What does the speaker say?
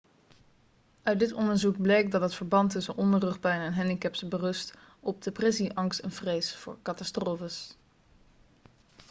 uit dit onderzoek bleek dat het verband tussen onderrugpijn en handicaps berust op depressie angst en vrees voor catastrofes